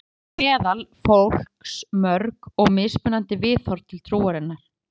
Þannig eru til meðal fólks mörg og mismunandi viðhorf til trúarinnar.